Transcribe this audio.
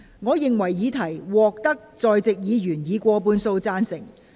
我認為議題獲得在席議員以過半數贊成。